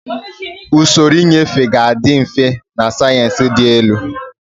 Usoro nnyefe ga-adị mfe na sayensị dị elu.